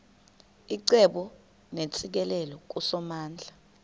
icebo neentsikelelo kusomandla